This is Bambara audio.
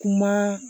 Kuma